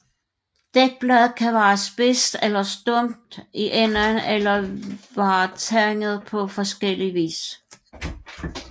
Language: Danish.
Dækbladet kan være spids eller stump i enden eller være tandet på forskellig vis